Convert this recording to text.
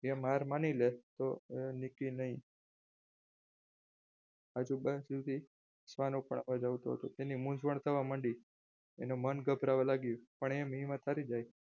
એ માર મારી રે તો એ નીકી નહિ તેની મૂંઝવણ થવા માંડી એનું મન ગભરાવવા માંડ્યું પણ એમ હિંમત હારી જાય.